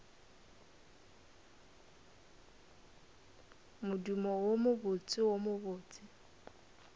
modumo wo mobotse wo mobose